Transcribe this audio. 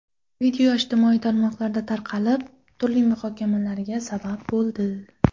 Video ijtimoiy tarmoqlarda tarqalib, turli muhokamalarga sabab bo‘ldi.